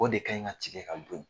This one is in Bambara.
O de kaɲi ŋa tigɛ ka dun.